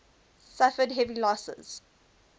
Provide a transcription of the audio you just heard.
suffered heavy losses